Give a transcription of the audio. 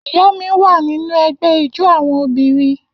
Iya mi wa ninu ẹgbẹ ijó awọn obinrin.